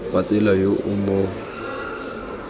wa tsela yo o mo